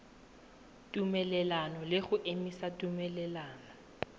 tumelelano le go emisa tumelelano